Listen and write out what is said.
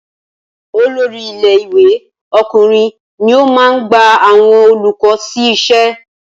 Olórí ilé ìwé ọkùnrin ní o máa ń gba àwọn olùkọ́ sí iṣẹ́